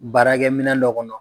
Baarakɛ minɛn dɔ kɔnɔ.